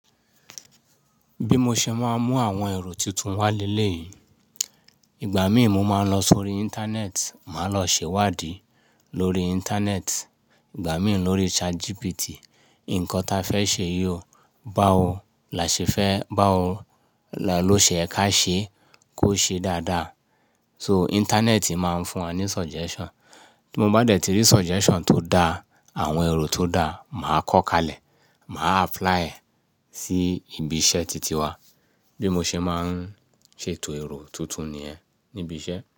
Bí mo ṣe máa ń mú àwọn ẹ̀rọ tuntun wá lé lé yìí, ìgbà mí ì mo máa n lọ sórí Íńtánẹ́ẹ̀tì, màá lọ ṣèwádìí lórí Íńtánẹ́ẹ̀tì, ìgbà míì lórí ChatGPT. Nǹkan ta fẹ́ ṣe yi ò báwọ là ṣẹ fẹ́, báwo là ló ṣe yẹ ká ṣe kó ṣe dáadáa. So Íńtánẹ́ẹ̀tì máa ń fún wa ní suggestion. Bí mo bá dẹ̀ tí rí suggestion tó dá, àwọn ẹ̀rọ tó dá, màá kọ́ kalẹ̀, màá apply ẹ̀ sí ibi iṣẹ́ titi wa. Bí mo ṣe máa ń ṣètò ẹ̀rọ tuntun nìyẹn níbi iṣẹ́.